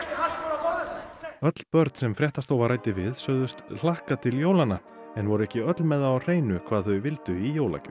askur á borðum öll börn sem fréttastofa ræddi við sögðust hlakka til jólanna en voru ekki öll með það á hreinu hvað þau vildu í jólagjöf